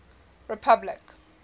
republic